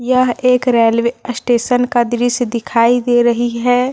यह एक railway station का दृश्य दिखाई दे रही है।